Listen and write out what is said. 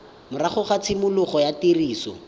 morago ga tshimologo ya tiriso